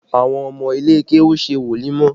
Àwọn ọmọ ilé kéwú ń ṣe wòlímọ̀